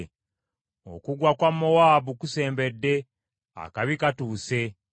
“Okugwa kwa Mowaabu kusembedde; akabi katuuse.